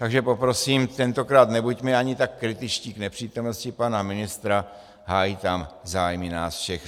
Takže poprosím, tentokrát nebuďme ani tak kritičtí k nepřítomnosti pana ministra, hájí tam zájmy nás všech.